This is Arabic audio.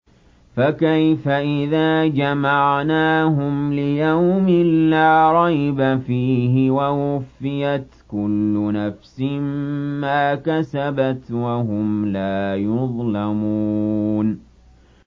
فَكَيْفَ إِذَا جَمَعْنَاهُمْ لِيَوْمٍ لَّا رَيْبَ فِيهِ وَوُفِّيَتْ كُلُّ نَفْسٍ مَّا كَسَبَتْ وَهُمْ لَا يُظْلَمُونَ